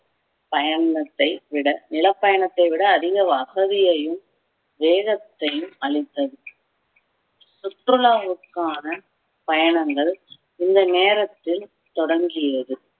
பயணத்தை விட நிலப்பயணத்தை விட அதிக வசதியையும் வேகத்தையும் அளித்தது சுற்றுலாவுக்கான பயணங்கள் இந்த நேரத்தில் தொடங்கியது